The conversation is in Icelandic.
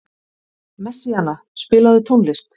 Messíana, spilaðu tónlist.